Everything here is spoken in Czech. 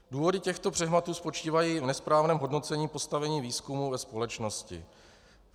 Důvody těchto přehmatů spočívají v nesprávném hodnocení postavení výzkumu ve společnosti.